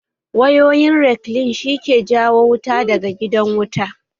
Wayoyin rekline shi ke jawo wuta daga gidan wuta